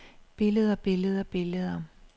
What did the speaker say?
billeder billeder billeder